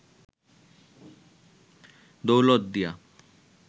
Daulatdia